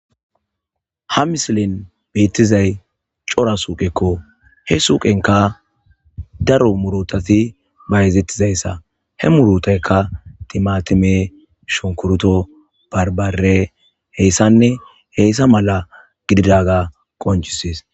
ha misilin beettizay cora suuqekko he suuqenka daro murotati bayzettizayssa he murutaykka timatime shonkuruto barbare heyssanne heyssa mala gididaga qoncises